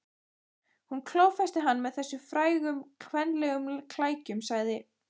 Hún klófesti hann með þessum frægu kvenlegu klækjum, sagði